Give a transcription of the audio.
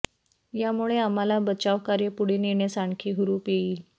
यामुळे आम्हाला बचावकार्य पुढे नेण्यास आणखी हुरूप येईल